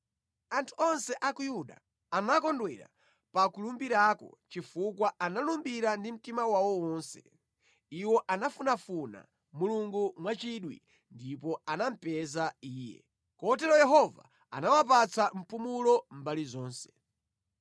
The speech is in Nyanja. Anthu onse a ku Yuda anakondwera pa kulumbirako chifukwa analumbira ndi mtima wawo wonse. Iwo anafunafuna Mulungu mwachidwi, ndipo anamupeza Iye. Kotero Yehova anawapatsa mpumulo mbali zonse.